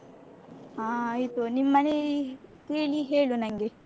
ಹ ಆಯ್ತು ನಿಮ್ಮನೇಲಿ ಕೇಳಿ ಹೇಳು ನನ್ಗೆ.